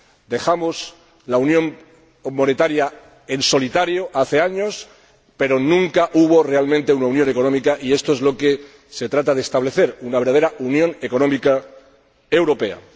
Dejamos la unión monetaria en solitario hace años, pero nunca hubo realmente una unión económica y esto es lo que se trata de establecer, una verdadera unión económica europea.